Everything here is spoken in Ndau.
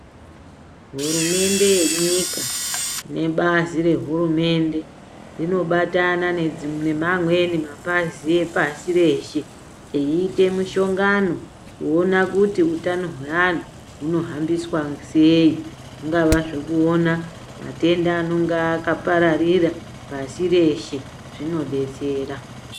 Hurumende yenyika, nebazi rehurumende zvinobatana nemamweni mapazi epasireshe, eyiite mushongano kuwona kuti hutano hweanhu hunofambiswa seyi, unga zvekuwona matenda anenge akaparirira pasi reshe, zvinodetsera.